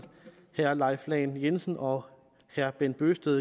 herre leif lahn jensen og herre bent bøgsted